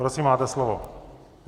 Prosím, máte slovo.